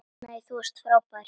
Nei, þú varst frábær!